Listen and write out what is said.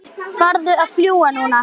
Farðu að fljúga, núna